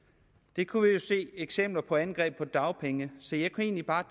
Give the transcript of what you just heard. det kunne vi jo se eksempler på med angreb på dagpengene så jeg kunne egentlig bare